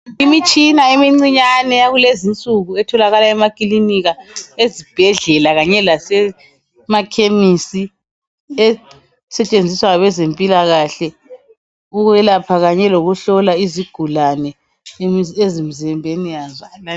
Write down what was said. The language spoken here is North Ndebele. imitshina emicinyane yakulezi insuku etholakala emakilinika ezibhedlela kanye lasemakhemisi esetshenziswa ngabezempilakahle ukwelapha kanye lokuhlola imikhuhlane izigulane emzimbeni yazo